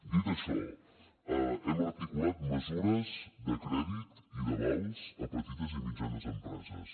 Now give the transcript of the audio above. dit això hem articulat mesures de crèdit i d’avals a petites i mitjanes empreses